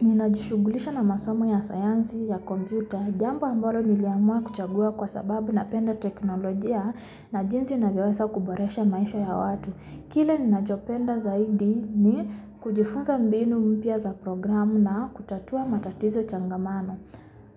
Ninajishughulisha na masomo ya sayansi ya kompyuta. Jambo ambalo niliamua kuchagua kwa sababu napenda teknolojia na jinsi navyowesa kuboresha maisha ya watu. Kile ninachopenda zaidi ni kujifunza mbinu mpya za programu na kutatua matatizo changamano.